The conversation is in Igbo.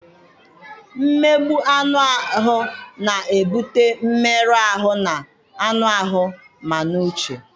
Mmegbu anụ ahụ na-ebute mmerụ ahụ ma n'anụ ahụ ma n'uche.